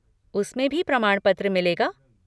उसमें भी प्रमाणपत्र मिलेगा?